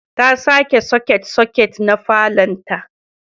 ta sake soket-soket na falonta.